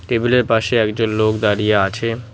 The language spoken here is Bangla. টেবিলের পাশে একজন লোক দাঁড়িয়ে আছে।